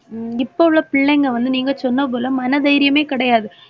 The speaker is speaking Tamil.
உம் இப்பவுள்ள பிள்ளைங்க வந்து நீங்க சொன்னது போல மன தைரியமே கிடையாது